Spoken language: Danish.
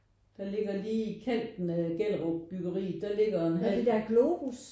Der ligger lige i kanten af Gellerupbyggeri der ligger en hal